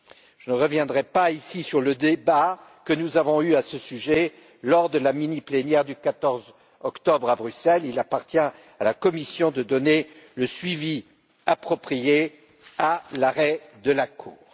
Je ne reviendrai pas ici sur le débat que nous avons eu à ce sujet lors de la mini plénière du 14 octobre à Bruxelles, il appartient à la Commission de réserver le suivi approprié à l'arrêt de la Cour.